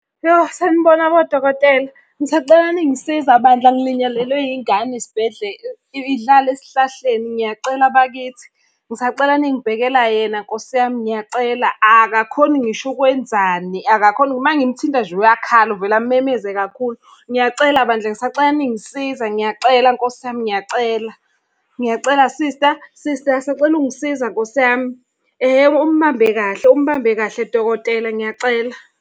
Yo, sanibona bodokotela, ngisacela ningisiza bandla ngilinyalelwe yingane idlala esihlahleni ngiyacela bakithi. Ngisacela ningibhekela yena Nkosi yami, ngiyacela akakhoni ngisho ukwenzani, akakhoni uma ngimthinta nje uyakhala. Uvele amemeze kakhulu. Ngiyacela bandla ngisacela ningisiza ngiyacela Nkosi yami ngiyacela, ngiyacela sista, sista sacela ungisiza Nkosi yami. Ehhe umbambe kahle, umbambe kahle dokotela ngiyacela.